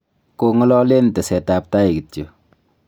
kong'ololen tesetab tai kityo